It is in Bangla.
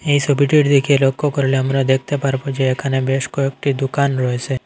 এই ছবিটির দিকে লক্ষ্য করলে আমরা দেখতে পারবো যে এখানে বেশ কয়েকটি দুকান রয়েসে ।